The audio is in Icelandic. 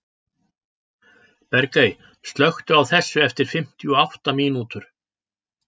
Bergey, slökktu á þessu eftir fimmtíu og átta mínútur.